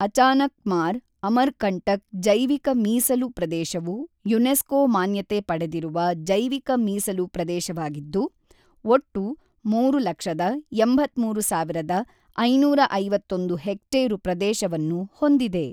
ಅಚಾನಕ್ಮಾರ್-ಅಮರ್ಕಂಟಕ್ ಜೈವಿಕ ಮೀಸಲು ಪ್ರದೇಶವು ಯುನೆಸ್ಕೋ ಮಾನ್ಯತೆ ಪಡೆದಿರುವ ಜೈವಿಕ ಮೀಸಲು ಪ್ರದೇಶವಾಗಿದ್ದು, ಒಟ್ಟು ಮೂರು ಲಕ್ಷದ ಎಂಬತ್ತ್ಮೂರು ಸಾವಿರದ ಐನೂರ ಐವತ್ತೊಂದು ಹೆಕ್ಟೇರು ಪ್ರದೇಶವನ್ನು ಹೊಂದಿದೆ.